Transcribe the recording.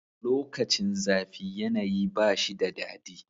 Lokacin zafi yanayi ba shi da dadi.